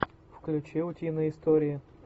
включи утиные истории